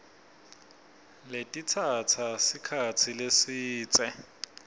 letitsatsa sikhatsi lesidze